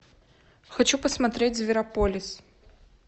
хочу посмотреть зверополис